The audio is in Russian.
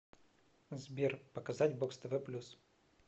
сбер показать бокс тв плюс